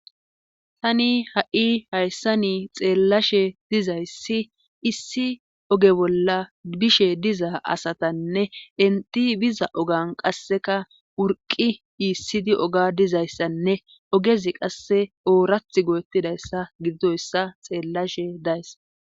tani ha7i hayssa ni xeellashe dizayssi issi oge bolla bishe diza asatanne inti biza ogan qasseka wurqi iissidi oga dizayssanne ogezi qasse oorath goettidayssa giddoyssa xeellashe days